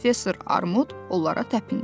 Professor Armud onlara təpindi.